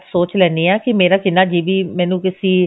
ਸੋਚ ਲੈਣੀ ਹੈਂ ਕੀ ਮੇਰਾ ਕਿੰਨਾ GB ਮੈਨੂੰ ਤੁਸੀਂ